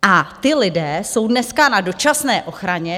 A ti lidé jsou dneska na dočasné ochraně.